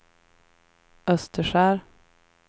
Österskär